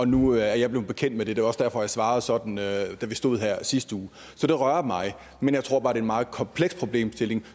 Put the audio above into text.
nu er jeg blevet bekendt med det det var også derfor at jeg svarede sådan da vi stod her i sidste uge så det rører mig men jeg tror bare at en meget kompleks problemstilling